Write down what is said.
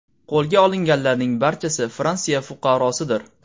Qo‘lga olinganlarning barchasi Fransiya fuqarosidir.